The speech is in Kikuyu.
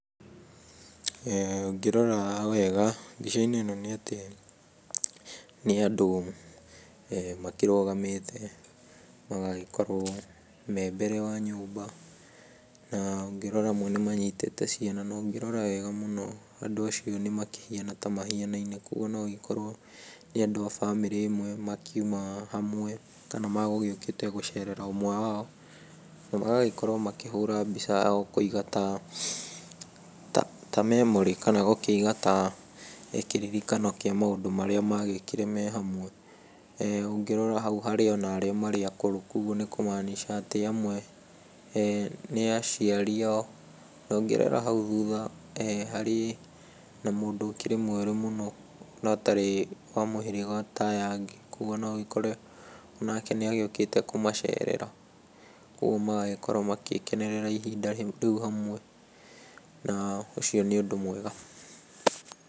Ũngĩrora wega mbica-inĩ ĩno nĩ atĩ nĩ andũ makĩrũgamĩte, magagĩkorwo me mbere wa nyũmba na ũngĩrora amwe nĩ manyitĩte ciana. Na ũngĩrora wega mũno andũ acio nĩ makĩhiana ta makĩhianaine, kogwo na agĩkorwo nĩ andũ a bamĩrĩ ĩmwe makiuna hamwe, kana megũgĩũkĩte gũcerera ũmwe wao, na magagĩkorwo makĩhũra mbica yao kũiga ta memory, kana gũkĩiga ta kĩririkano kĩa maũndũ marĩa magĩkire me hamwe. Ũngĩrora hau harĩ ona arĩa marĩ akũrũ kogwo nĩ kũmaanisha atĩ amwe nĩ aciari ao. Na ũngĩrora hau thutha harĩ na mũndũ ũkĩrĩ mwerũ mũno na ũtarĩ wa mũhĩrĩga ta aya angĩ. Kogwo no ũgĩkore onake nĩ agĩũkĩte kũmacerera, kogwo magagĩkorwo magĩkenerera ihinda rĩu hamwe, na ũcio nĩ ũndũ mwega.